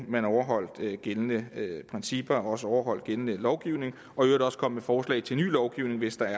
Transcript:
overholdt gældende principper og også overholdt gældende lovgivning og i øvrigt også kom med forslag til ny lovgivning hvis der